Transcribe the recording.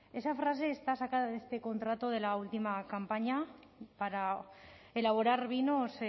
esa frase está sacada de este contrato de la última campaña para elaborar vinos